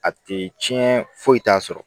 A tɛ tiɲɛ foyi t'a sɔrɔ